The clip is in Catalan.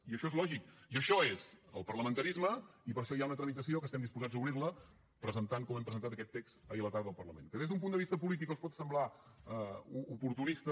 i això és lògic i això és el parlamentarisme i per això hi ha una tramitació que estem disposats a obrir la presentant com hem presentat aquest text ahir a la tarda al parlament que des d’un punt de vista polític els pot semblar oportunista